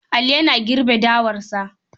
Ali yana girbe dawarsa.